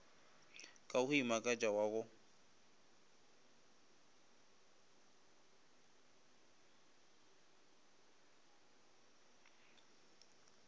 ka go imakatša wa go